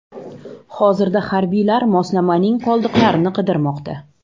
Hozirda harbiylar moslamaning qoldiqlarini qidirmoqda.